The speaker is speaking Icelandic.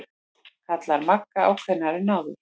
kallar Magga ákveðnari en áður.